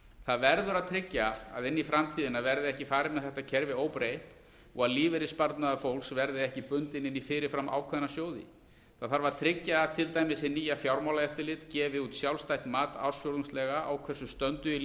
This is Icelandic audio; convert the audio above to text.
það verður að tryggja að inn í framtíðina verði ekki farið með þetta kerfi óbreytt og að lífeyrissparnaður fólks verði ekki bundinn inn í fyrirframákveðna sjóði það þarf að tryggja að til dæmis hið nýja fjármálaeftirlit gefi út sjálfstætt mat ársfjórðungslega á hversu stöndugir